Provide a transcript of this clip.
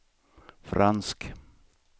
fransk